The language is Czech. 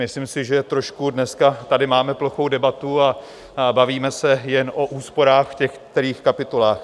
Myslím si, že trošku dneska tady máme plochou debatu a bavíme se jen o úsporách v těch kterých kapitolách.